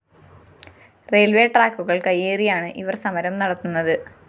railways ട്രാക്കുകള്‍ കയ്യേറിയാണ് ഇവര്‍ സമരം നത്തുന്നത്